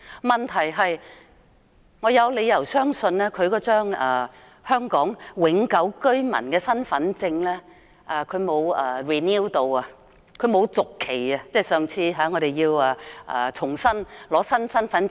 問題是，我有理由相信，上次更換新的香港永久居民身份證時，他沒有續期，所以他現在未必持有有效的香港身份證。